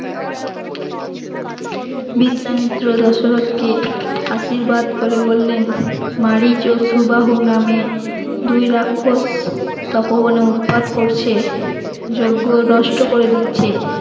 বিশ্বামিত্র দশরথ কে আশীর্বাদ করে বললেন মারিচ ও সুবাহু নামে দুই রাক্ষস তপবনে উৎপাত করছে যজ্ঞ নষ্ট করে দিচ্ছে